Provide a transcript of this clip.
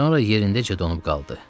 Sonra yerindəcə donub qaldı.